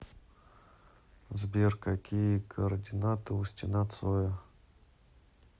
сбер какие координаты у стена цоя